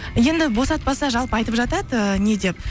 енді босатпаса жалпы айтып жатады ііі не деп